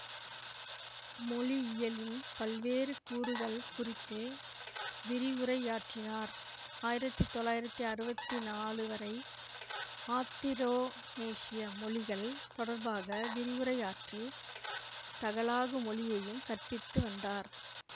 மொழியியலின் பல்வேறு கூறுகள் குறித்து விரிவுரையாற்றினார் ஆயிரத்தி தொள்ளாயிரத்தி அறுவத்தி நாலு வரை ஆத்திரோனேசிய மொழிகள் தொடர்பாக விரிவுரையாற்றி தகலாகு மொழியையும் கற்பித்துவந்தார்